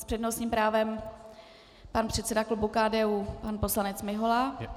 S přednostním právem pan předseda klubu KDU, pan poslanec Mihola.